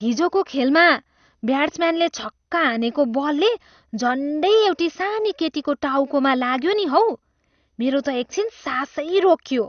हिजोको खेलमा ब्याट्सम्यानले छक्का हानेको बलले झन्डै एउटी सानी केटीको टाउकोमा लाग्यो नि हौ। मेरो त एकछिन सासै रोकियो।